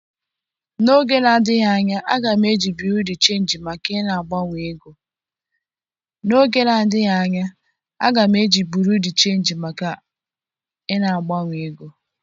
N'oge na-adịghị anya, a ga m eji buro de chenji maka na-agbanwe ego.